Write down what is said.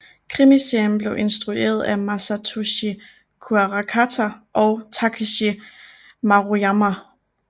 Krimiserien blev instrueret af Masatoshi Kuarakata og Takeshi Maruyama